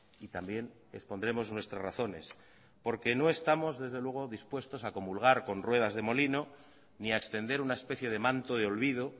y también expondremos nuestras razones porque no estamos desde luego dispuestos a comulgar con ruedas de molino ni a extender una especie de manto de olvido